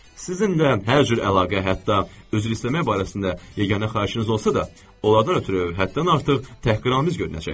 Sizinlə hər cür əlaqə, hətta üzr istəmək barəsində yeganə xahişiniz olsa da, onlardan ötrü həddən artıq təhqiramiz görünəcək.